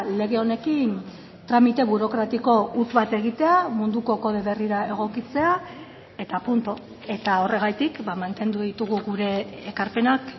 lege honekin tramite burokratiko huts bat egitea munduko kode berrira egokitzea eta puntu eta horregatik mantendu ditugu gure ekarpenak